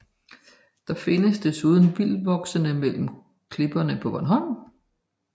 Den findes desuden vildtvoksende mellem klipperne på Bornholm